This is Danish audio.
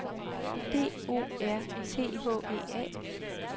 D O R T H E A